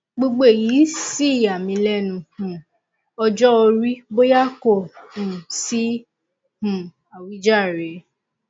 gbogbo èyí sì yà mí lẹnu um ọjọ orí bóyá kò um sí um àwíjàre